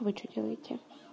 вы что делаете